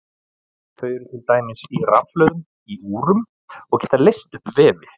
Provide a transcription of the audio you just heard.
Þau eru til dæmis í rafhlöðum í úrum og geta leyst upp vefi.